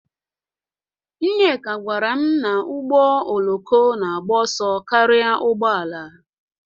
Nneka gwara m na ụgbọ oloko na-agba ọsọ karịa ụgbọ ala